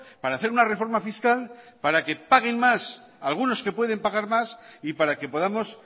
para hacer una reforma fiscal para que paguen más algunos que pueden pagar más y para que podamos